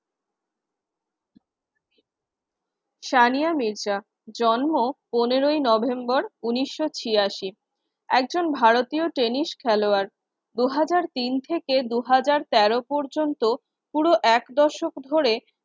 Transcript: সানিয়া মির্জা। জন্ম পনেরই নভেম্বর উনিশ শ ছিয়াশি। একজন ভারতীয় টেনিস খেলোয়াড় দু হাজার তিন থেকে দু হাজার তেরো পর্যন্ত পুরো এক দশক ধরে